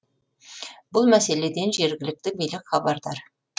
бұл мәселеден жергілікті билік хабардар